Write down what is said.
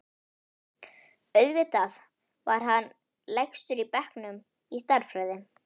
Auðvitað var hann lægstur í bekknum í stærðfræði.